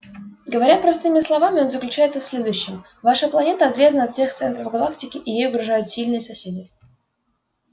говоря простыми словами он заключается в следующем ваша планета отрезана от всех центров галактики и ей угрожают сильные соседи